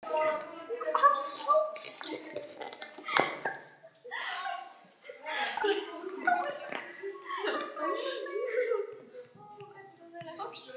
Ég hef ekki gert skyldu mína.